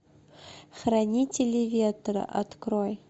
хранители ветра открой